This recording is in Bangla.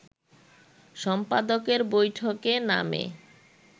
সম্পাদকের বৈঠকে নামে